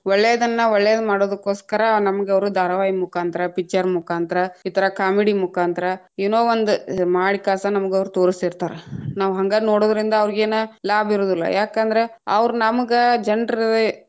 ಒಳ್ಳೆದನ್ನ್‌ ಒಳ್ಳೆದ್‌ ಮಾಡುದಕ್ಕೋಸ್ಕರ ನಮ್ಗ್‌ ಅವ್ರ ಧಾರಾವಾಹಿ ಮುಖಾಂತರ picture ಮುಖಾಂತ್ರ ಈ ತರಾ comedy ಮುಕಾಂತ್ರ ಏನೋ ಒಂದ ಮಾಡಕ್ಯಾಸ ಅವ್ರ ನಮಗ್ ತೊರಸ್ತೀತಾ೯ರ, ನಾವ್‌ ಹಂಗ ನೋಡೋದ್ರಿಂದ ಅವ್ರೀಗೇನ ಲಾಭ ಇರೋದಿಲ್ಲಾ ಯಾಕಂದ್ರ ಅವ್ರ ನಮಗ್‌ ಜನ್ರ್.